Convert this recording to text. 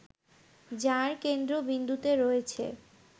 যার কেন্দ্রবিন্দুতে রয়েছে